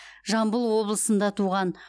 жамбыл облысында туған